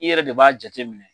I yɛrɛ de b'a jate minɛ.